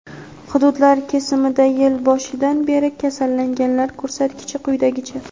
Hududlar kesimida yil boshidan beri kasallanganlar ko‘rsatkichi quyidagicha:.